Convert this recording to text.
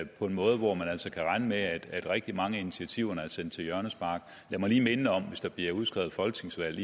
på en måde hvor man altså kan regne med at rigtig mange af initiativerne er sendt til hjørnespark lad mig lige minde om at hvis der bliver udskrevet folketingsvalg